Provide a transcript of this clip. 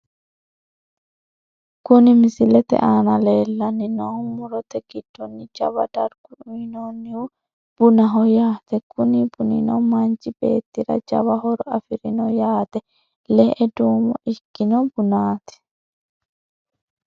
Kuni misilete aana leellanni noohu murote giddonni jawa darga uyiinannihu bunaho yaate kuni bunino manchi beettira jawa horo afirino yaate, le''e duumo ikkino bunaati.